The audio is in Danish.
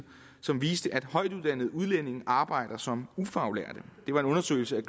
som viste at højtuddannede udlændinge arbejder som ufaglærte det var en undersøgelse af